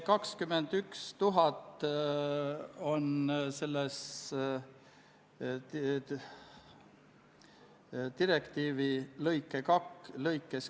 Kas Riigikogu liikmetel on soovi pidada läbirääkimisi?